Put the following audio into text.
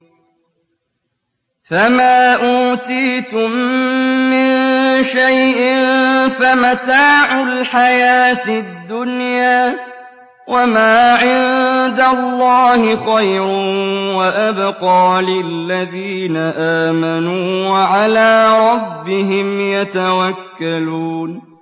فَمَا أُوتِيتُم مِّن شَيْءٍ فَمَتَاعُ الْحَيَاةِ الدُّنْيَا ۖ وَمَا عِندَ اللَّهِ خَيْرٌ وَأَبْقَىٰ لِلَّذِينَ آمَنُوا وَعَلَىٰ رَبِّهِمْ يَتَوَكَّلُونَ